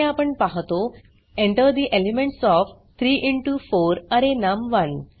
येथे आपण पाहतो Enter the elements of 3 into 4 array नम1